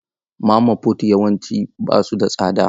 Mama fut yawanci ba su da tsada.